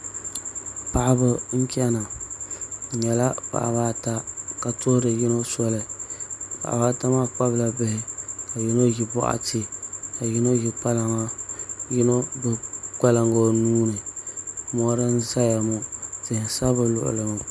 Paɣaba n chɛna bi nyɛla paɣaba ata ka tuhuri yino soli paɣaba ata maa kpabila bihi ka yino ʒi boɣati ka yino ʒi kpalaŋa ka yino gbubi kpalaŋa o nuuni mori n ʒɛya ŋo tihi n sa bi luɣuli ni ŋo